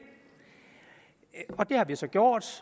har vi så gjort